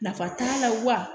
Nafa t'a la wa